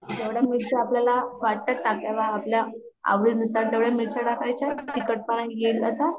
जेवढ्या मिरच्या आपल्याला वाटतात टाकाव्य आपल्या आवडी नुसार तेवढ्या मिरच्या टाकायचा तिखटपण येईल अस